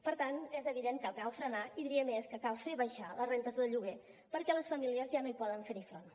per tant és evident que cal frenar i diria més que cal fer baixar les rendes del lloguer perquè les famílies ja no hi poden fer front